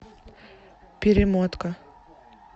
перемотка